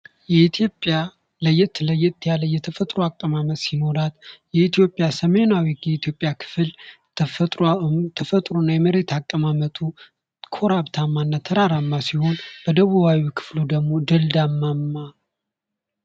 የኢትዮጵያ ለየት ለየት ያለ የተፈጥሮ አቀማመጥ ሲኖራት ፤ የኢትዮጵያ ሰሜናዊ የኢትዮጵያ ክፍል ተፈጥሮና የመሬት አቀማመጡ ኮረብታማ እና ተራራማ ሲሆን፤ በደቡባዊው ክፍሉ ደግሞ ደልዳማማ።